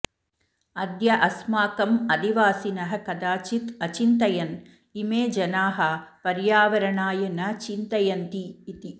अद्य अस्माकम् अधिवासिनः कदाचित् अचिन्तयन् इमे जनाः पर्यावरणाय न चिन्तयन्ति इति